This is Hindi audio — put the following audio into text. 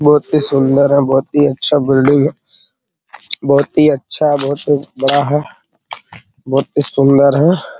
बहुत ही सुन्दर है बहुत ही अच्छा बिल्डिंग है बहुत ही अच्छा बहुत ही बड़ा है बहुत ही सुन्दर है |